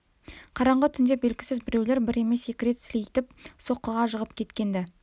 қараңғы түнде белгісіз біреулер бір емес екі рет сілейтіп соққыға жығып кеткен-ді